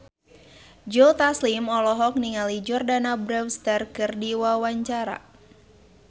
Joe Taslim olohok ningali Jordana Brewster keur diwawancara